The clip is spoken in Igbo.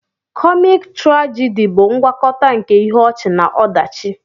Komiki-turagidi bụ ngwakọta nke ihe ọchị na ọdachi.